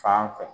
Fan fɛ